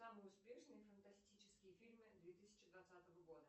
самые успешные фантастические фильмы две тысячи двадцатого года